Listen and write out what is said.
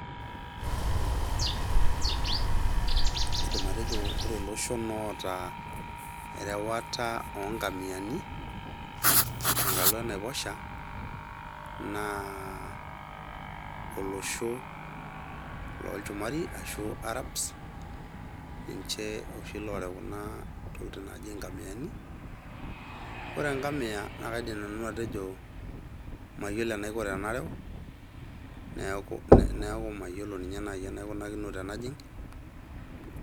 Aidim atejo ore iloshon oota erewata onkamiani tenkalo enaiposha naa olosho lolchumari arashu arabs ninche oshi lorew kuna tokiting naji inkamiyani ore enkamiya naa kaidim nanu atejo mayiolo enaiko tenarew neeku mayiolo ninye naaji enaiko tenajing.